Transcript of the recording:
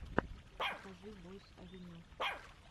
покажи бойс авеню